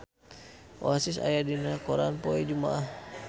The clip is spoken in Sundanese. Oasis aya dina koran poe Jumaah